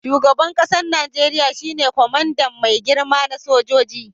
Shugaban kasan Nijeriya shine kwamandan mai girma na sojoji.